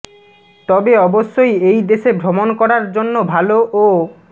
তবে অবশ্যই এই দেশে ভ্রমণ করার জন্য ভালো ও